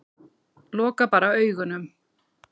Loka bara augunum.